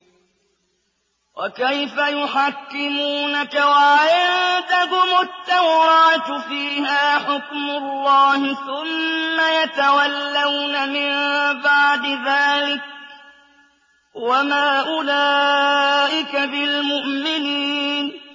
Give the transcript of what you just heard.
وَكَيْفَ يُحَكِّمُونَكَ وَعِندَهُمُ التَّوْرَاةُ فِيهَا حُكْمُ اللَّهِ ثُمَّ يَتَوَلَّوْنَ مِن بَعْدِ ذَٰلِكَ ۚ وَمَا أُولَٰئِكَ بِالْمُؤْمِنِينَ